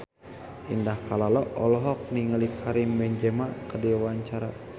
Indah Kalalo olohok ningali Karim Benzema keur diwawancara